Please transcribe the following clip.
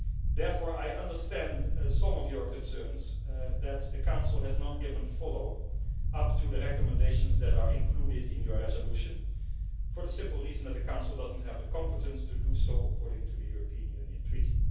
Therefore, I understand some of your concerns that the Council has not given follow up to the recommendations that are included in your resolution for the simple reason that the Council does not have the competence to do so according to the European Union Treaty.